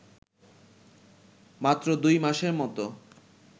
মাত্র দুই মাসের মতো